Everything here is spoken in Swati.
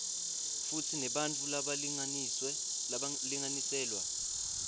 futsi nebantfu labalinganiselwa